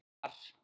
Eins og var.